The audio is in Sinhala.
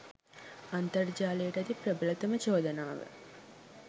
අන්තර්ජාලයට ඇති ප්‍රබලතම චෝදනාව